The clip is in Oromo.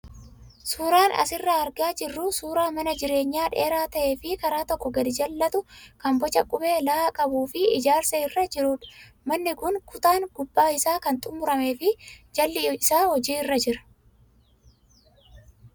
Suuraan asirraa argaa jirru suuraa mana jireenyaa dheeraa ta'ee fi karaa tokko gadi jallatu kan boca qubee "L" qabuu fi ijaarsa irra jirudha. Manni kun kutaan gubbaa isaa kan xumuramee fi jalli isaa hojiirra jira.